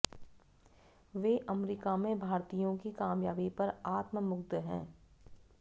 वे America में भारतीयों की कामयाबी पर आत्ममुग्ध हैं